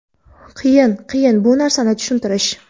qiyin, qiyin bu narsani tushuntirish.